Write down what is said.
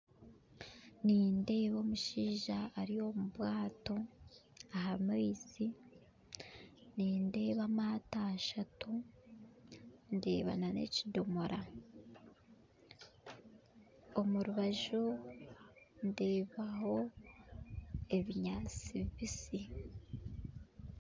Nindeeba omushaija ari omu bwato aha maizi nindeeba amaato ashatu ndeeba n'ekidoomora omu rubaju ndeebaho ebinyaatsi bibisi